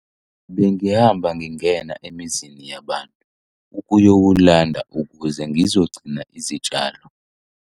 Bengihamba ngingena emizini yabantu ukuyowulanda ukuze ngizogcina izitshalo.